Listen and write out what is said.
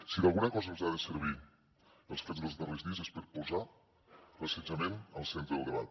si d’alguna cosa ens han de servir els fets dels darrers dies és per posar l’assetjament al centre del debat